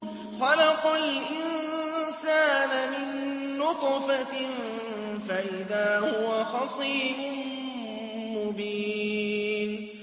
خَلَقَ الْإِنسَانَ مِن نُّطْفَةٍ فَإِذَا هُوَ خَصِيمٌ مُّبِينٌ